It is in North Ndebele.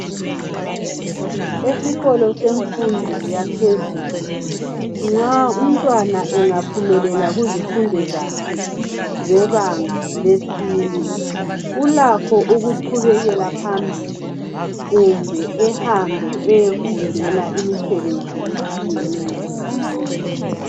esikolo semfundo yaphezulu nxa umtwana engaphumelela kuzimfundo zakhe zebanga lesine ulakho ukuqhubekela phambili kumbe ehambe eyefundela imisebenzi etshiyeneyo